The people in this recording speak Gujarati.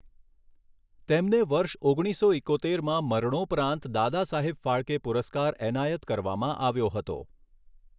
તેમને વર્ષ ઓગણીસો ઈકોતેરમાં મરણોપરાંત દાદાસાહેબ ફાળકે પુરસ્કાર એનાયત કરવામાં આવ્યો હતો.